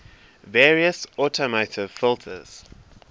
various automotive filters